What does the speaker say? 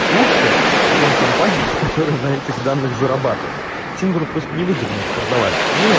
лучше чем компания которая на этих данных зарабатывает всем говорю просто невыгодно их продавать